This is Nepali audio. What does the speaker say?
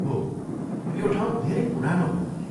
हो, यो ठाउँ धेरै पुरानो हो।